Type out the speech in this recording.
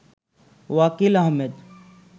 Wakil Ahmed